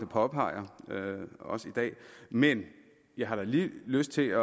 påpeger også i dag men jeg har da lige lyst til